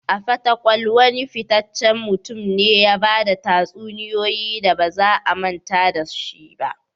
A fatakwal, wane fitaccen mutum ne ya ba da tatsuniyoyi da ba za a manta da su ba?